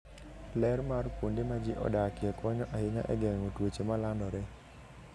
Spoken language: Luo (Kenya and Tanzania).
Ler mar kuonde ma ji odakie konyo ahinya e geng'o tuoche ma landore.